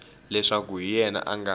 leswaku hi yena a nga